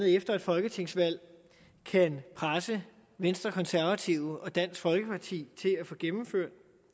efter et folketingsvalg kan presse venstre konservative og dansk folkeparti til at få gennemført